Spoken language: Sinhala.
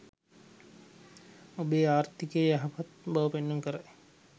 ඔබේ ආර්ථිකය යහපත් බව පෙන්නුම් කරයි.